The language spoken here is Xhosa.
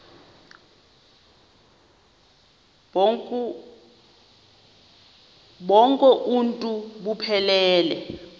bonk uuntu buphelele